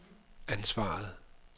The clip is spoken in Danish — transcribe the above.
ansvaret